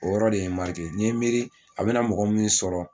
O yɔrɔ de ye n n ye miiri a bɛna mɔgɔ min sɔrɔ